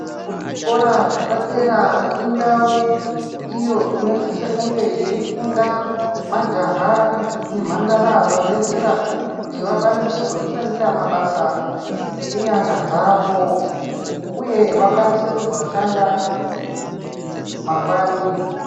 Kuzvikora zvepadera indau iyo inosise kunge yei funda majaha ne mhandara vabvezera kuti vakwanise kuzvishandira mabasa ngenyara dzavo uye vakwanise kuzoshanda mangwani.